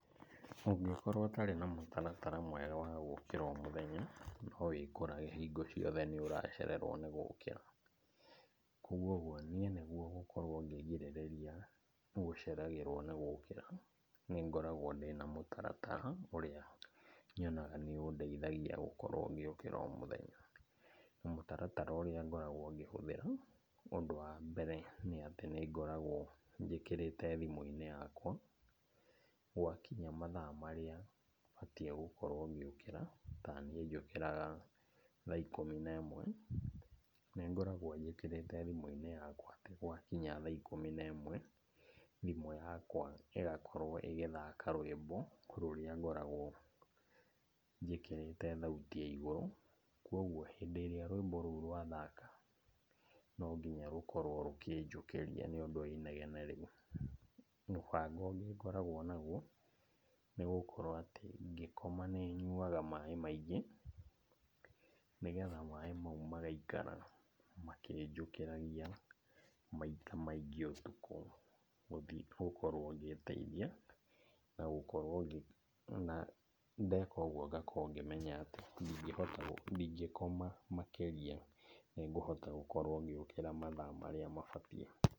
Ũngĩkorwo ũtarĩ na mũtaratara mwega wa gũkĩra o mũthenya, nowĩkorage hingo ciothe nĩũracererwo nĩ gũkĩra. Koguo ũguo, niĩ nĩguo gũkorwo ngĩgirĩrĩria gũceragĩrwo nĩ gũkĩra, nĩngoragwo ndĩ na mũtaratara ũrĩa nyonaga nĩũndeithagia gũkorwo ngĩũkĩra o mũthenya. Na mũtaratara ũrĩa ngoragwo ngĩhũthĩra; ũndũ wa mbere, nĩ atĩ nĩngoragwo njĩkĩrĩte thimũ-inĩ yakwa, gwakinya mathaa marĩa batiĩ gũkorwo ngĩũkĩra, taniĩ njũkĩraga thaa ikũmi nemwe. Nĩngoragwo njĩkĩrĩte thimũ-inĩ yakwa atĩ gwakinya thaa ikũmi nemwe, thimũ yakwa ĩgakorwo ĩgĩthaka rwĩmbo rũrĩa ngoragwo njĩkĩrĩte thauti ya igũrũ. Koguo hĩndĩ ĩrĩa rwĩmbo rũu rwathaka nonginya rũkorwo rũkĩnjũkĩria nĩũndũ wa inegene rĩu. Mũbango ũngĩ ngoragwo naguo, nĩgũkorwo atĩ ngĩkoma nĩnyuaga maĩ maingĩ, nĩgetha maĩ mau magaikara makĩnjũkĩragia maita maingĩ ũtukũ, gũthi gũkorwo ngĩteithia na gũkorwo ngĩ, wona ndeka ũgũo ngakorwo ngĩmenya atĩ ndingĩhota gũ, ndingĩkoma makĩria. Nĩngũhota gũkorwo ngĩũkĩra mathaa marĩa mabatie.